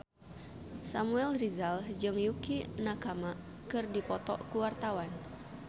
Samuel Rizal jeung Yukie Nakama keur dipoto ku wartawan